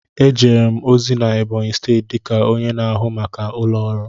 Ejere m ozi na Ebonyi steeti dịka onye na-ahụ maka ụlọ ọrụ.